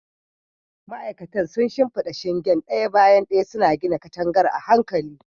Ma'aikatan sun shimfida shingen ɗaya bayan ɗaya, suna gina katangar a hankali.